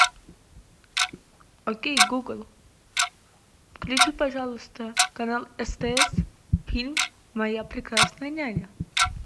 окей гугл включи пожалуйста канал стс фильм моя прекрасная няня